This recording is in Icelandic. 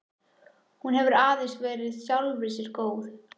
Hún hefur aðeins verið sjálfri sér góð.